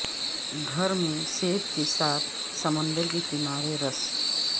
گھر میں سیب کے ساتھ سمندر کے کنارے سے رس